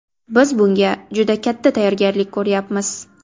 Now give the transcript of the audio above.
Biz bunga juda katta tayyorgarlik ko‘ryapmiz.